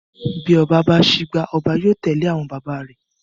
Bí oba bá sígbá, oba yóò tèlé àwon baba rèè.